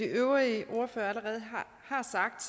de øvrige ordførere allerede har sagt